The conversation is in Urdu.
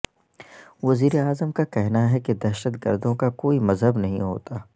وزیراعظم کا کہنا ہے کہ دہشت گردوں کا کوئی مذہب نہیں ہوتا